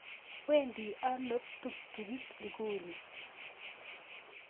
Wedi ano ptuktukitik ikuni?